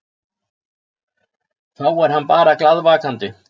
Þá er hann bara glaðvakandi.